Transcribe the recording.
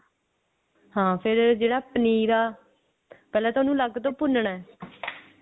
ਹਾਂ ਫੇਰ ਜਿਹੜਾ ਪਨੀਰ ਐ ਪਹਿਲਾਂ ਤਾਂ ਉਹਨੂੰ ਅਲੱਗ ਤੋਂ ਭੁੰਨਨਾ